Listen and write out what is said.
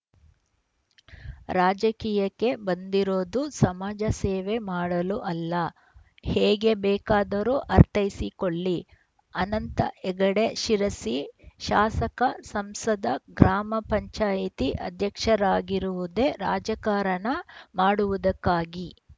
ರಾಜಕೀಯಕ್ಕೆ ಬಂದಿರೋದು ಸಮಾಜ ಸೇವೆ ಮಾಡಲು ಅಲ್ಲ ಹೇಗೆ ಬೇಕಾದರೂ ಅರ್ಥೈಸಿಕೊಳ್ಳಿ ಅನಂತ ಹೆಗಡೆ ಶಿರಸಿ ಶಾಸಕ ಸಂಸದ ಗ್ರಾಮ ಪಂಚಾಯಿತಿ ಅಧ್ಯಕ್ಷರಾಗಿರುವುದೇ ರಾಜಕಾರಣ ಮಾಡುವುದಕ್ಕಾಗಿ